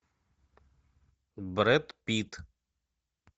брэд питт